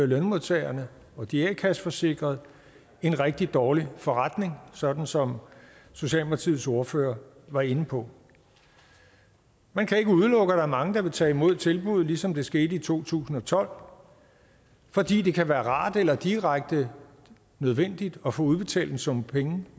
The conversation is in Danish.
lønmodtagerne og de a kasseforsikrede en rigtig dårlig forretning sådan som socialdemokratiets ordfører var inde på man kan ikke udelukke at der er mange der vil tage imod tilbuddet ligesom det skete i to tusind og tolv fordi det kan være rart eller direkte nødvendigt at få udbetalt en sum penge